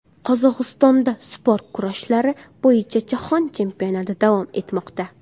Qozog‘istonda sport kurashlari bo‘yicha Jahon chempionati davom etmoqda.